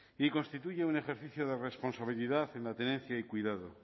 y constituye un ejercicio de responsabilidad en la tenencia y cuidado